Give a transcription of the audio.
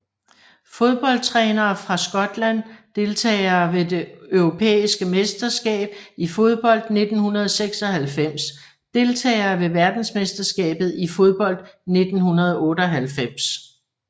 Fodboldtrænere fra Skotland Deltagere ved det europæiske mesterskab i fodbold 1996 Deltagere ved verdensmesterskabet i fodbold 1998